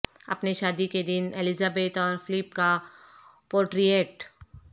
اپنے شادی کے دن الزبتھ اور فلپ کا پورٹریٹ